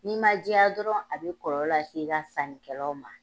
N'i man jɛya dɔrɔn a bɛ kɔlɔlɔ lase i ka sannikɛlaw ma.